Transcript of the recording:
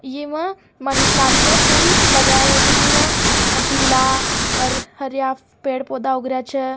इमा money plant माँ फूल लगये हुई छ जिम पिला और हरिया पेड़ पौधा उग रा छ।